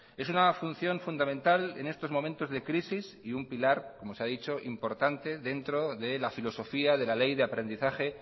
es una función fundamental en estos momentos de crisis y un pilar como se ha dicho importante dentro de la filosofía de la ley de aprendizaje